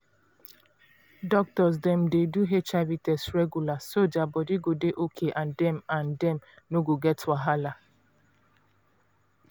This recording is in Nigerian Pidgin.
doctors dem dey do hiv test regular so their body go dey okay and dem and dem no go get wahala.